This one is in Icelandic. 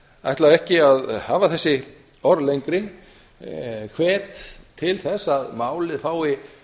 ætla ekki að hafa þessi orð fleiri ég hvet til þess að málið fái